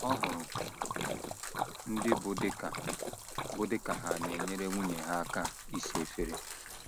Ọ hụrụ ndị bụ́ di ka bụ́ di ka ha na - enyere nwunye ha aka ịsa efere